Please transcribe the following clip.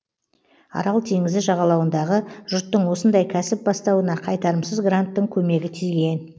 арал теңізі жағалауындағы жұрттың осындай кәсіп бастауына қайтарымсыз гранттың көмегі тиген